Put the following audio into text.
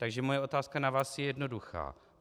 Takže moje otázka na vás je jednoduchá.